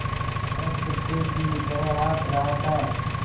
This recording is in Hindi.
वह कुत्ते की तरह हाँफ़ रहा था